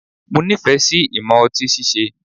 Mo nifẹ si imọ ọti síse